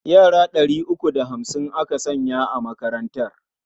Yara ɗari uku da hamsin aka sanya a makarantar.